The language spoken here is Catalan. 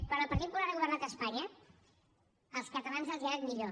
quan el partit popular ha governat a espanya als catalans els ha anat millor